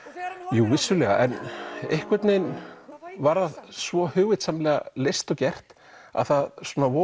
jú vissulega einhvern veginn var það svo hugvitssamlega leyst og gert að það